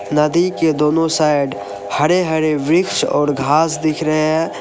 नदी के दोनों साइड हरे हरे वृक्ष और घास दिख रहे हैं।